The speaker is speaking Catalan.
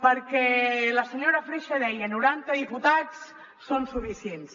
perquè la senyora freixa deia noranta diputats són suficients